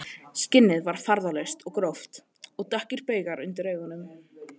Skinnið var farðalaust og gróft og dökkir baugar undir augunum